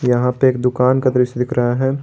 यहां पे एक दुकान का दृश्य दिख रहा है।